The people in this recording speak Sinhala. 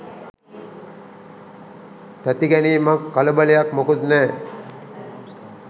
තැති ගැනීමක් කලබලයක් මොකුත් නෑ.